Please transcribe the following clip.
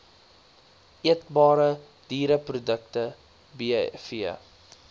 eetbare diereprodukte bv